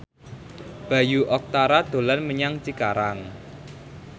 Bayu Octara dolan menyang Cikarang